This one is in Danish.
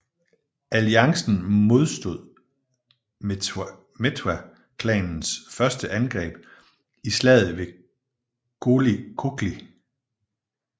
Alliancen modstod Mtetwa klanens første angreb i slaget ved Gqokli